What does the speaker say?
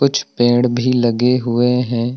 कुछ पेड़ भी लगे हुए हैं।